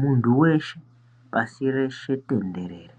Muntu weshe pasi reshe tenderere